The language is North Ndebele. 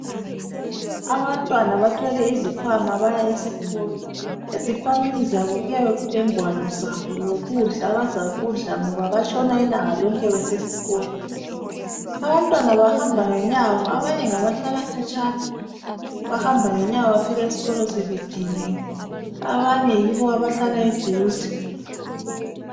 Abantwana bathwele izikhwama baya esikolo ezikhwameni zabokuyabe kulezingwalo lokudla abazakidla ngoba batshona ilanga lonke besesikolo abantwana bahamba ngenyawo abanye ngabahlala khatshana bahamba ngenyawo bafika esikolo sebediniwe abanye yibo abahlala eduze